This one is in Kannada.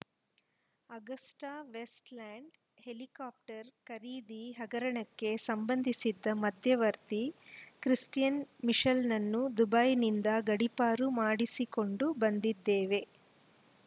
ಅಗಸ್ಟಾವೆಸ್ಟ್‌ಲ್ಯಾಂಡ್‌ ಹೆಲಿಕಾಪ್ಟರ್‌ ಖರೀದಿ ಹಗರಣಕ್ಕೆ ಸಂಬಂಧಿಸಿದ ಮಧ್ಯವರ್ತಿ ಕ್ರಿಸ್ಟಿಯನ್‌ ಮಿಶೆಲ್‌ನನ್ನು ದುಬೈನಿಂದ ಗಡೀಪಾರು ಮಾಡಿಸಿಕೊಂಡು ಬಂದಿದ್ದೇವೆ